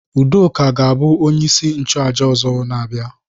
Udoka ga-abụ onye isi nchụaja ọzọ na-abịa.